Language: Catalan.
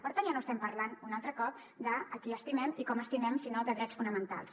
per tant ja no estem parlant un altre cop de qui estimem i com estimem sinó de drets fonamentals